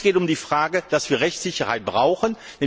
Es geht uns um die Frage, dass wir Rechtssicherheit brauchen.